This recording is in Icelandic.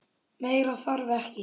Meira þarf ekki.